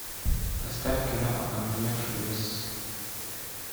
поставь кино окаменевший лес